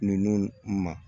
Ninnu ma